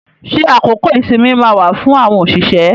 Ṣé àkókò ìsinmi máa wà fún àwọn òṣìṣẹ́?